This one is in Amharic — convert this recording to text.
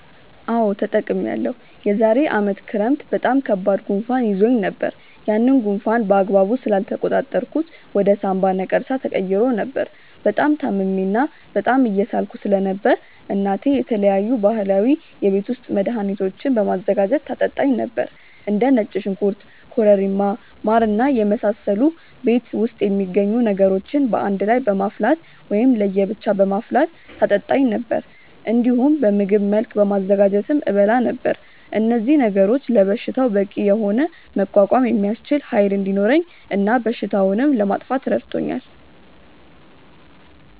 አዎ ተጠቅሜያለሁ። የዛሬ አመት ክረምት በጣም ከባድ ጉንፋን ይዞኝ ነበር። ያንን ጉንፋን በአግባቡ ስላልተቆጣጠርኩት ወደ ሳምባ ነቀርሳ ተቀይሮ ነበር። በጣም ታምሜ እና በጣም እየሳልኩ ስለነበር እናቴ የተለያዩ ባህላዊ የቤት ውስጥ መድሀኒቶችን በማዘጋጀት ታጠጣኝ ነበር። እንደ ነጭ ሽንኩርት ኮረሪማ ማር እና የመሳሰሉ ቤት ውስጥ የሚገኙ ነገሮችን በአንድ ላይ በማፍላት ወይም ለየ ብቻ በማፍላት ታጠጣኝ ነበር። እንዲሁም በምግብ መልክ በማዘጋጀትም እበላ ነበር። እነዚህ ነገሮች ለበሽታው በቂ የሆነ መቋቋም የሚያስችል ኃይል እንዲኖረኝ እና በሽታውንም ለማጥፋት ረድቶኛል።